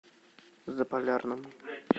заполярному